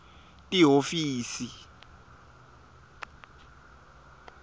lihhovisi